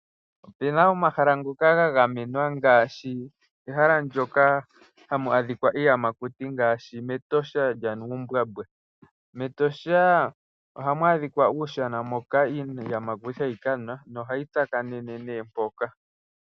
Ope na omahala ngoka ga gamenwa ngaashi ehala moka hamu adhika iiyamakuti; ngaashi mEtosha lyaNuumbwambwa. MEtosha ohamu adhika uundombe mpoka iiyamakuti hayi nu nohayi tsakanene nduno mpoka.